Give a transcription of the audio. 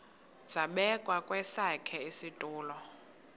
zabekwa kwesakhe isitulo